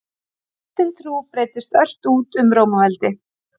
Kristin trú breiddist ört út um Rómaveldi.